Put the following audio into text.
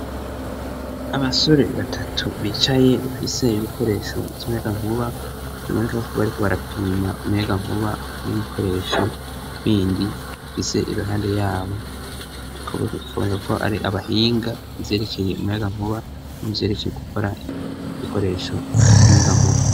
abasore batatu bicaye bafite ibikoresho by'umuyaga nkuba biboneka kuba ariko barapima umuyagankuba n'ibikoresho bindi afite irohando yabo ikaboneka ko ari abahinga yerekeye umuyagankuba niyerekeye gukora ibikoresho by'umuyagankuba